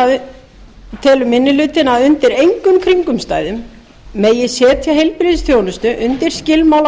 hlutinn að undir engum kringumstæðum megi setja heilbrigðisþjónustu undir skilmála